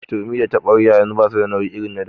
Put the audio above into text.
Turmi da taɓaryar yanzu basu da nauyi irin na da.